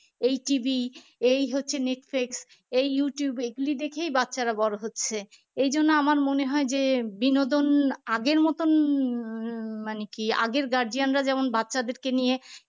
এই TV এই হচ্ছে নেটফ্লিক্স এই youtube এগুলি দেখেই বাচ্চারা বড় হচ্ছে এইজন্য আমার মনে হয় যে বিনোদন আগের মতন মানে কি আগের guardian রা যেমন বাচ্চাদেরকে নিয়ে